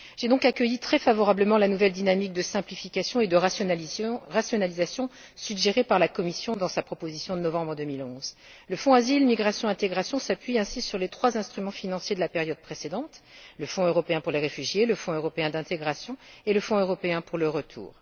J'ai donc accueilli très favorablement la nouvelle dynamique de simplification et de rationalisation suggérée par la Commission dans sa proposition de novembre2011. Le Fonds Asile, migration et intégration s'appuie ainsi sur les trois instruments financiers de la période précédente le Fonds européen pour les réfugiés, le Fonds européen d'intégration et le Fonds européen pour le retour.